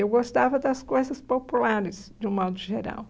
Eu gostava das coisas populares, de um modo geral.